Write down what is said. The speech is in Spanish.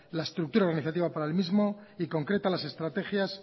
la estructura organizativa para el mismo y concreta las estrategias